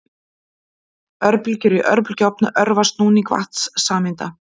Örbylgjur í örbylgjuofni örva snúning vatnssameinda.